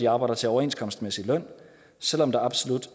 arbejder til overenskomstmæssig løn og selv om der absolut